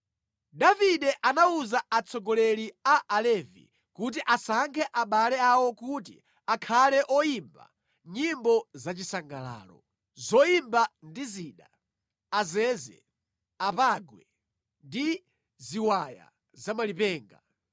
Davide anawuza atsogoleri a Alevi kuti asankhe abale awo kuti akhale oyimba nyimbo zachisangalalo, zoyimba ndi zida: azeze, apangwe ndi ziwaya za malipenga.